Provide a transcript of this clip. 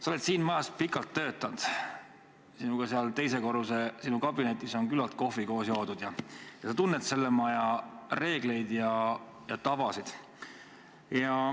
Sa oled siin majas pikalt töötanud – sinuga on seal sinu teise korruse kabinetis küllalt koos kohvi joodud –, sa tunned selle maja reegleid ja tavasid.